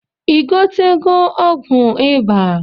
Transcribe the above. I gotego ọgwụ iba?